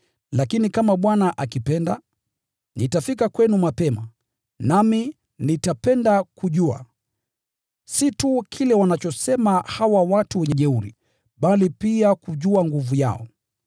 Lakini kama Bwana akipenda, nitafika kwenu mapema, nami nitapenda kujua, si tu kile wanachosema hawa watu jeuri, bali pia kujua nguvu yao.